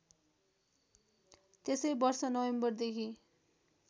त्यसै वर्ष नोभेम्बरदेखि